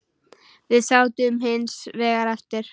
Við sátum hins vegar eftir.